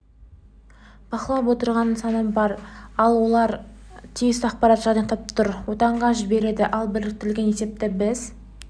бақылап отырған нысаны бар олар тиісті ақпаратты жинақтап нұр отанға жібереді ал біріктірілген есепті біз